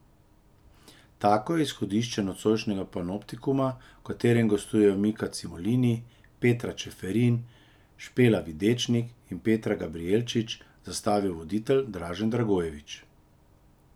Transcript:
Tako je izhodišče nocojšnjega Panoptikuma, v katerem gostujejo Mika Cimolini, Petra Čeferin, Špela Videčnik in Peter Gabriječič, zastavil voditelj Dražen Dragojevič.